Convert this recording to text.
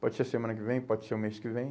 Pode ser semana que vem, pode ser o mês que vem.